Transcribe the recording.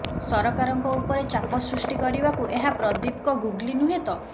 ସରକାରଙ୍କ ଉପରେ ଚାପ ସୃଷ୍ଟି କରିବାକୁ ଏହା ପ୍ରଦୀପଙ୍କ ଗୁଗଲି ନୁହେଁ ତ